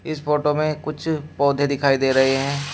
इस फोटो में कुछ पौधे दिखाई दे रहे हैं।